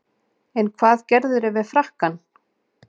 En hvað gerðirðu við frakkann?